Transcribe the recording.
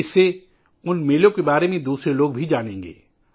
اس سے دوسرے لوگ بھی ان میلوں کے بارے میں جان جائیں گے